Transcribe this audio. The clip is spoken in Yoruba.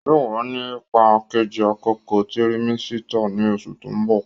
Yóò wà ní ipá Kejì àkókò tirimẹ́sítà ní oṣù tó ń bò